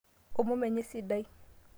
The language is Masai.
omom enye sidai